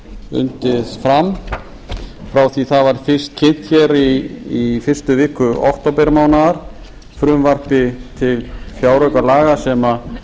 undið fram frá því það var fyrst kynnt hér í fyrstu viku októbermánaðar frumvarpi til fjáraukalaga sem